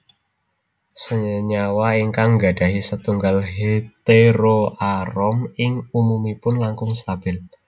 Senyawa ingkang nggadahi setunggal heteroarom ing umumipun langkung stabil